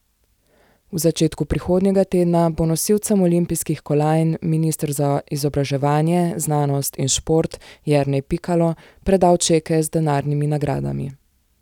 V začetku prihodnjega tedna bo nosilcem olimpijskih kolajn minister za izobraževanje, znanost in šport Jernej Pikalo predal čeke z denarnimi nagradami.